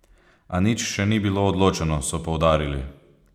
A nič še ni bilo odločeno, so poudarili.